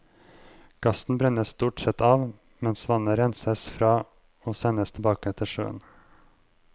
Gassen brennes stort sett av, mens vannet renses fra og sendes tilbake til sjøen.